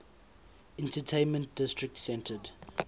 entertainment district centered